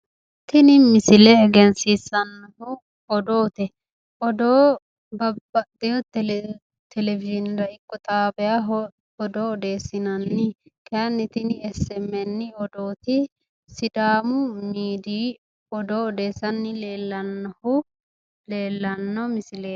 Tini misile egensiissannohu odoote. Odoo babbaxxeeyo televizhiinera ikko xaabiyaho odoo odeessinanni. Kayinni tine smn odooti sidaamu miidiyi odoo odeessanni leellannohu leellanno misileeti.